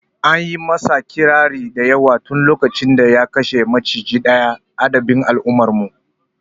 Anyi masa ƙirari da yawa tun lokacin da ya kashe macijin daya addabe al'ummar mu